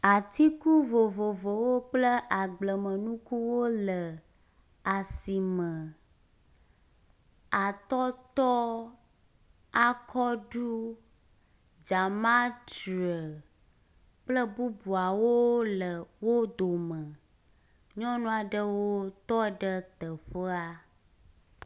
Atiku vovovowo kple agbleme nukuwo le asime. Atɔtɔ, akɔɖɔ, dzamatre kple bubuawole wo dome. Nyɔnua ɖewo tɔ ɖe teƒea.